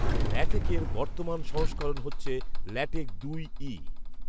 ল্যাটেক এর বর্তমান সংস্করণ হচ্ছে ল্যাটেক দুই ই